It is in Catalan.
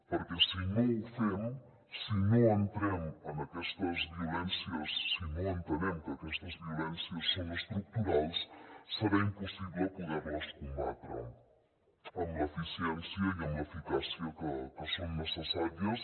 perquè si no ho fem si no entrem en aquestes violències si no entenem que aquestes violències són estructurals serà impossible poder les combatre amb l’eficiència i amb l’eficàcia que són necessàries